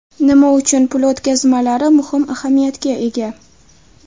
Nima uchun pul o‘tkazmalari muhim ahamiyatga ega?